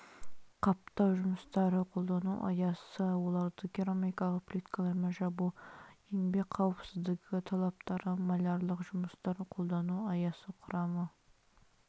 қаптау жұмыстары қолдану аясы оларды керамикалық плиткалармен жабу еңбек қауіпсіздігі талаптары малярлық жұмыстар қолдану аясы құрамы